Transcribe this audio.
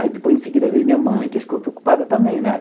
Aí depois em seguida veio minha mãe, que ficou preocupada também, né?